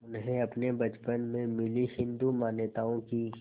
उन्हें अपने बचपन में मिली हिंदू मान्यताओं की